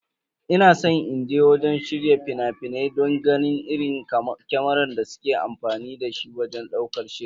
Ina san inje wurin shirya fina-finai don ganin irin kamarar da suke amfani da shi wajen ɗaukar shiri.